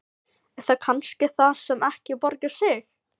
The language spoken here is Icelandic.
Er það kannski það sem ekki borgar sig?